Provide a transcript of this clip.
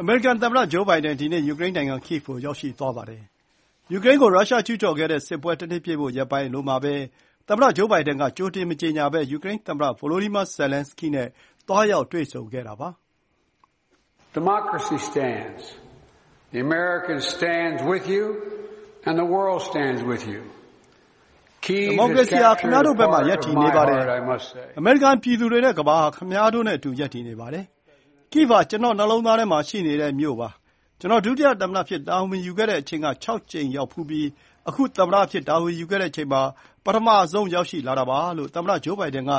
အမေရိကန် သမ္မတ Joe Biden ဒီနေ့ ယူကရိန်းနိုင်ငံ Kyvi ကို ရောက်ရှိသွားပါတယ်။ ယူကရိန်းကို ရုရှားကျုးကျော်ခဲ့တဲ့ စစ်ပွဲ တနှစ်ပြည့်ဖို့ ရက်ပိုင်းပဲအလိုမှာပဲ သမ္မတ Joe Biden က ကြိုတင် မကြေညာဘဲ ယူကရိန်းသမ္မတ Volodymyr Zelenskyy နဲ့ သွားရောက် တွေ့ဆုံတာပါ။ ဒီမိုကရေစီဟာ ခင်ဗျားတို့ဘက်မှာ ရပ်တည်နေပါတယ်၊ အမေရိကန် ပြည်သူတွေနဲ့ ကမ္ဘာဟာ ခင်ဗျားတို့နဲ့အတူ ရပ်တည်နေပါတယ်။ Kyiv ဟာ ကျနော့နှလုံးသားထဲမှာ ရှိနေတဲ့မြို့ ဖြစ်ပါတယ်။ ကျနော် ဒုသမ္မတအဖြစ် တာဝန်ယူခဲ့တဲ့အချိန်က ၆ ကြိမ်ရောက်ဖူးပြီး အခု သမ္မတအဖြစ် တာဝန်ယူခဲ့တဲ့အချိန်မှာ ပထမဆုံးရောက်လာတာပါလို့ သမ္မတ Joe Biden က